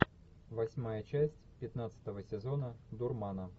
восьмая часть пятнадцатого сезона дурмана